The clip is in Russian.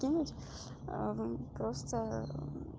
кинуть просто